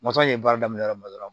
ye baara daminɛ yɔrɔ min na dɔrɔn